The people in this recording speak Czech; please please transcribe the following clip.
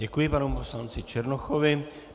Děkuji panu poslanci Černochovi.